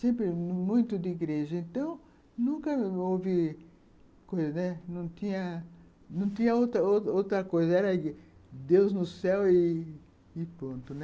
Sempre muito de igreja, então nunca houve coisa, né, não tinha outra coisa, era Deus no céu e ponto.